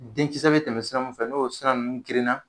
Denkisɛ bi tɛmɛ sira mun fɛ n'o sira nunnu gerenna